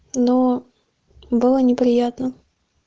ноо было неприятно